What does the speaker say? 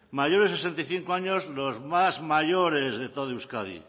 mayores de sesenta y cinco años los más mayores de todo euskadi